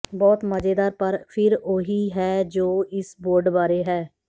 ਬਹੁਤ ਮਜ਼ੇਦਾਰ ਪਰ ਫਿਰ ਉਹੀ ਹੈ ਜੋ ਇਸ ਬੋਰਡ ਬਾਰੇ ਹੈ